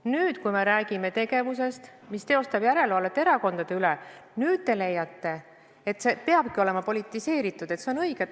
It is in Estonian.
Nüüd, kui me räägime tegevusest, mis tähendab järelevalvet erakondade üle, te leiate, et see peabki olema politiseeritud, et see on õige.